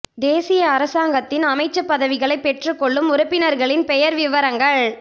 தேசிய அரசாங்கத்தில் அமைச்சுப் பதவிகளை பெற்றுக் கொள்ளும் உறுப்பினர்களின் பெயர் விபரங்கள்